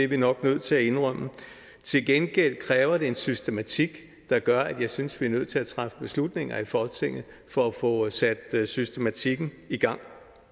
vi nok nødt til at indrømme til gengæld kræver det en systematik der gør at jeg synes at vi er nødt til at træffe beslutninger i folketinget for at få sat systematikken i gang